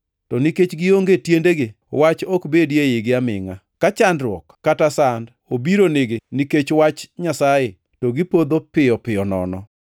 To nikech gionge tiendegi Wach ok bedi eigi amingʼa. Ka chandruok kata sand obiro nigi nikech Wach Nyasaye to gipodho piyo piyo nono.